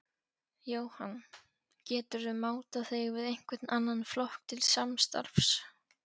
Jóhann: Geturðu mátað þig við einhvern annan flokk til samstarfs?